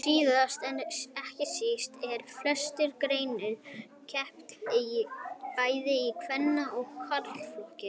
Síðast en ekki síst er í flestum greinum keppt bæði í kvenna og karlaflokki.